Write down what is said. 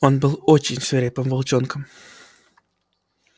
он был очень свирепым волчонком